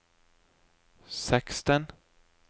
seksten